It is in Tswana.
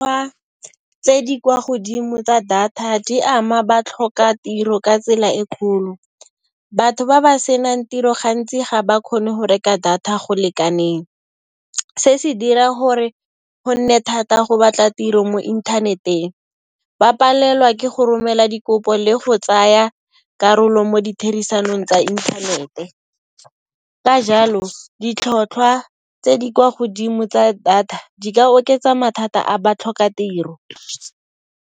Fa tse di kwa godimo tsa data di ama batlhokatiro ka tsela e kgolo. Batho ba ba senang tiro gantsi ga ba kgone go reka data go lekaneng. Se se dira hore go nne thata go batla tiro mo inthaneteng. Ba palelwa ke go romela dikopo le go tsaya karolo mo ditherisanong tsa inthanete. Ka jalo, ditlhotlhwa tse di kwa godimo tsa data, di ka oketsa mathata a batlhokatiro.